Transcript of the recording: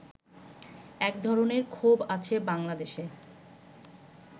এক ধরনের ক্ষোভ আছে বাংলাদেশে